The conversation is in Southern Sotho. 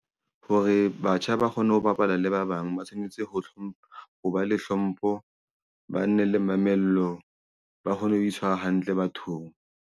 Hore batjha ba kgone ho bapala le ba bang ba tshwanetse ho hlompha ho ba le hlompho ba nne le mamello ba kgone ho itshwara hantle bathong.